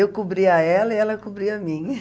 Eu cobria ela e ela cobria a mim.